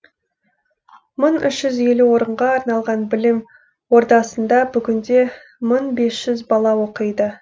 мың үш жүз елу орынға арналған білім ордасында бүгінде мың бес жүз бала оқиды